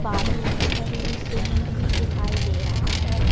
बालू छरी सीमेंट भी दिखाई दे रहा है।